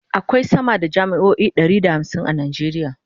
akwai sama da jami'o'i Ɗari da hamsin a nigeria